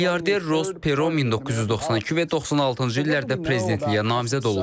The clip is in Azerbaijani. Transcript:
Milyarder Ros Pero 1992 və 96-cı illərdə prezidentliyə namizəd olub.